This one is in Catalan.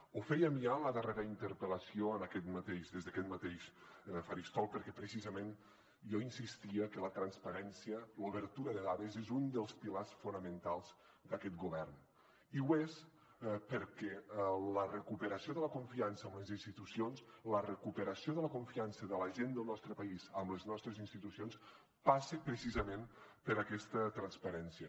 ho fèiem ja en la darrera interpel·lació des d’aquest mateix faristol perquè precisament jo insistia que la transparència l’obertura de dades és un dels pilars fonamentals d’aquest govern i ho és perquè la recuperació de la confiança en les institucions la recuperació de la confiança de la gent del nostre país amb les nostres institucions passa precisament per aquesta transparència